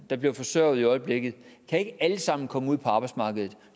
der bliver forsørget i øjeblikket ikke alle sammen kan komme ud på arbejdsmarkedet